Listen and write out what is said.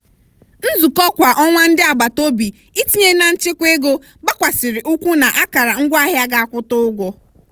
nzukọ kwa ọnwa ndị agbataobi itinye na nchekwa ego gbakwasiri ụkwụ n'akara ngwaahịa ga akwụta ụgwọ.